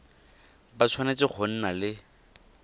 ba tshwanetse go nna le